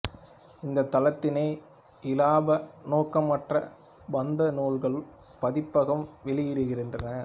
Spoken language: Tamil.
இந்தத் தளத்தினை இலாப நோக்கமற்ற பாந்தம் நூல்கள் பதிப்பகம் வெளியிடுகின்றது